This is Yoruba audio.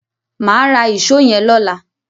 Máa ra ìṣó yẹn lọ́la.